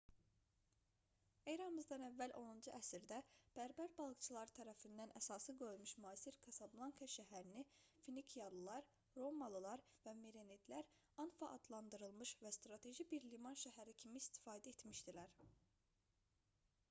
e.ə. 10-cu əsrdə bərbər balıqçıları tərəfindən əsası qoyulmuş müasir kasablanka şəhərini finikiyalılar romalılar və merenidlər anfa adlandırmış və strateji bir liman şəhəri kimi istifadə etmişdilər